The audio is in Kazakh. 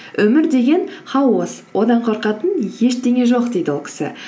өмір деген хаос одан қорқатын ештеңе жоқ дейді ол кісі